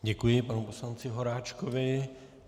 Děkuji panu poslanci Horáčkovi.